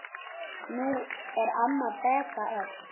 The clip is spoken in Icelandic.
Nú er amma Beta öll.